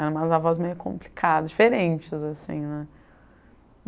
Eram avós meio complicadas, diferentes assim né.